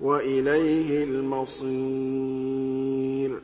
وَإِلَيْهِ الْمَصِيرُ